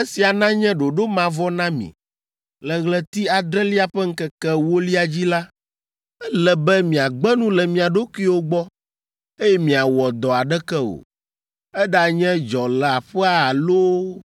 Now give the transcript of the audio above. “Esia nanye ɖoɖo mavɔ na mi: le ɣleti adrelia ƒe ŋkeke ewolia dzi la, ele be miagbe nu le mia ɖokuiwo gbɔ, eye miawɔ dɔ aɖeke o, eɖanye dzɔleaƒea loo alo